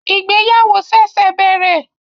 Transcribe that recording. Ìgbéyàwó ṣẹ̀ṣẹ̀ bẹ̀rẹ̀